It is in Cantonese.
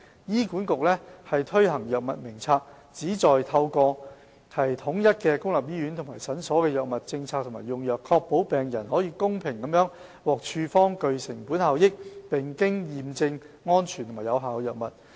醫管局推行藥物名冊，旨在透過統一公立醫院和診所的藥物政策和用藥，確保病人可公平地獲處方具成本效益，並經驗證安全和有效的藥物。